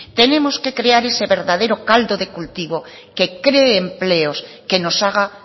tenemos que crear ese verdadero caldo de cultivo que cree empleos que nos haga